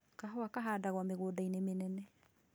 Kahũa kahandagwo mĩgũnda-inĩ mĩnene